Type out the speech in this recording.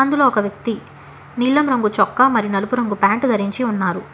ఇందులో ఒక వ్యక్తి నీలం రంగు చొక్కా మరి నలుపు రంగు ప్యాంటు ధరించి ఉన్నారు.